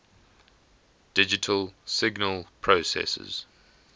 digital signal processors